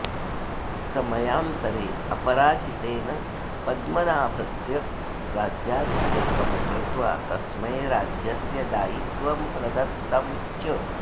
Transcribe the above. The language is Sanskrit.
समयान्तरे अपराजितेन पद्मनाभस्य राज्याभिषेकं कृत्वा तस्मै राज्यस्य दायित्वं प्रदत्तं च